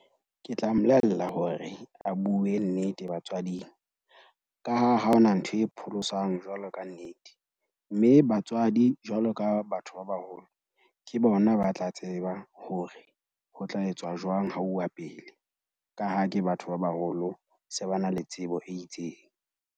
Ke tla mmolella hore a bue nnete batswading, ka ha ha hona ntho e pholosang jwalo ka nnete. Mme batswadi jwalo ka batho ba baholo ke bona ba tla tseba hore ho tla etswa jwang ha uwa pele. Ka ha ke batho ba baholo, se ba na le tsebo e itseng.